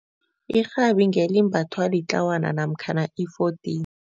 Irhabi ngelimbathwa litlawana namkhana i-fourteen.